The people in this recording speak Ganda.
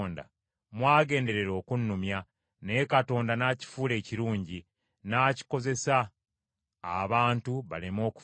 Mwagenderera okunnumya, naye Katonda n’akifuula ekirungi, n’akikozesa abantu baleme okufa.